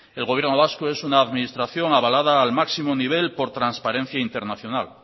el gobierno vasco es una administración avalada al máximo nivel por transparencia internacional